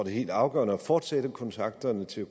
er helt afgørende at fortsætte kontakterne til